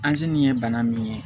nin ye bana min ye